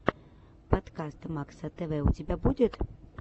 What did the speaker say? подкаст макса тв у тебя будет